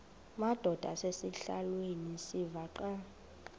madod asesihialweni sivaqal